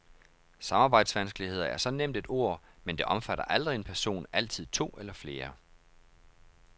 Samarbejdsvanskeligheder er så nemt et ord, men det omfatter aldrig en person, altid to eller flere.